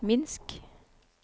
Minsk